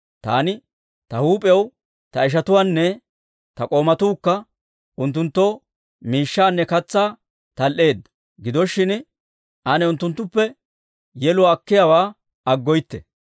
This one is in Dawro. Taani ta huup'iyaw, ta ishatuwaanne ta k'oomatuukka unttunttoo miishshaanne katsaa tal"eeddo; gido shin, ane unttunttuppe yeluwaa akiyaawaa aggoytte.